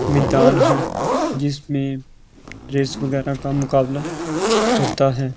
मैदान है जिसमें रेस वगैरह का मुकाबला होता है।